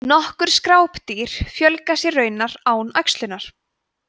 nokkur skrápdýr fjölga sér raunar án æxlunar